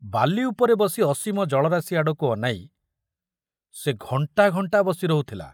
ବାଲି ଉପରେ ବସି ଅସୀମ ଜଳରାଶି ଆଡ଼କୁ ଅନାଇ ସେ ଘଣ୍ଟା ଘଣ୍ଟା ବସି ରହୁଥିଲା।